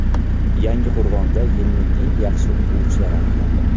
Yangiqo‘rg‘onda yilning eng yaxshi o‘quvchilari aniqlandi.